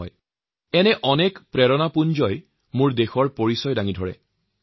এনেধৰণ বহুতো প্ৰেৰণাদায়ক ঘটনাই আমাৰ দেশৰ পৰিচয় বহন কৰে